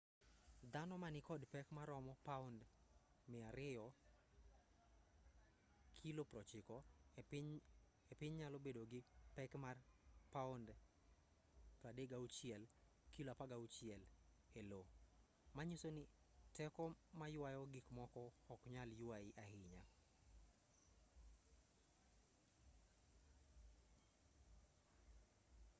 dhano ma nikod pek maromo pound 200 kilo 90 e piny nyalo bedo gi pek mar pound 36 kilo 16 e io. manyiso ni teko maywayo gikmoko ok nyal ywayi ahinya